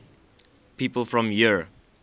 people from eure